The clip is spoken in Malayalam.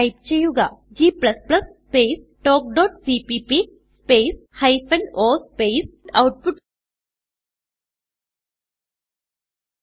ടൈപ്പ് ചെയ്യുക g സ്പേസ് talkസിപിപി space hyphen o space output